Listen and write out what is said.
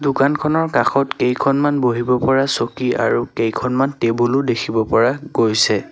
দোকানখনৰ কাষত কেইখনমান বহিব পৰা চকী আৰু কেইখনমান টেবুল ও দেখিব পৰা গৈছে।